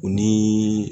U ni